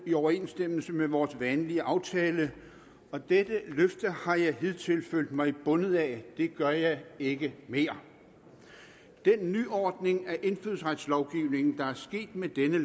i overensstemmelse med vores vanlige aftale og dette løfte har jeg hidtil følt mig bundet af det gør jeg ikke mere den nyordning af indfødsretslovgivningen der er sket med dette